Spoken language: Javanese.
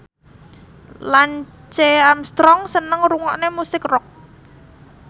Lance Armstrong seneng ngrungokne musik rock